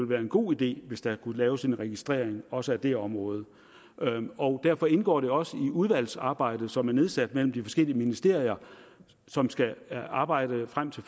være en god idé hvis der kunne laves en registrering også af det område og derfor indgår det også i udvalgets arbejde det udvalg som er nedsat mellem de forskellige ministerier og som skal arbejde frem til